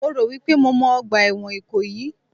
Mo rò wípé mo mọ ọgbà ẹ̀wọ̀n Ìkòyí